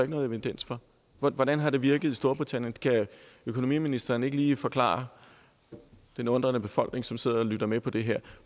nogen evidens for hvordan har det virket i storbritannien kan økonomiministeren ikke lige forklare den undrende befolkning som sidder og lytter med på det her